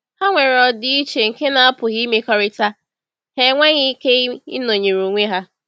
Ha nwere ọdịiche nke na-apụghị imekọrịta; ha enweghị ike ịnọnyere onwe ha.